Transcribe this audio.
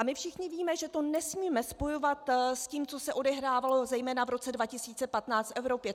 A my všichni víme, že to nesmíme spojovat s tím, co se odehrávalo zejména v roce 2015 v Evropě.